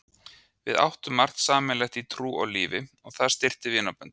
Við áttum margt sameiginlegt í trú og lífi og það styrkti vinaböndin.